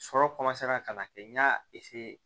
Sɔrɔ ka na kɛ n y'a